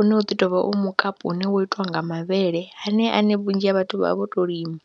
une u ḓi tou vha u mukapu une wo itiwa nga mavhele haneyo ane vhunzhi ha vhathu vha vha vho tou lima.